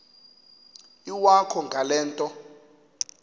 iwakho ngale nto